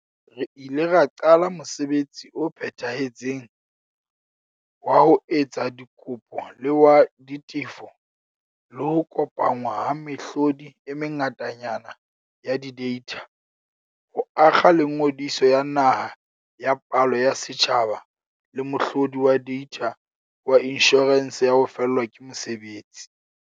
Re ile ra qala mosebetsi o phethahetseng wa ho etsa dikopo le wa ditefo, le ho kopanngwa ha mehlodi e mengatanyana ya dideitha, ho akga le Ngodiso ya Naha ya Palo ya Setjhaba le mohlo di wa deitha wa Inshorense ya ho Fellwa ke Mosebetsi, UIF.